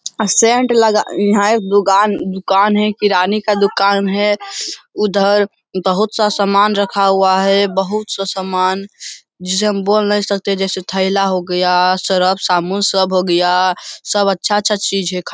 अ सेंट लगा है दुकान दुकान है किराने का दुकान है उधर बहुत सा समान रखा हुआ है बहुत सा समान जिसे हम बोल नहीं सकते जैसे थैला हो गया सर्फ साबुन सब हो गया है सब अच्छा-अच्छा चीज है खाने --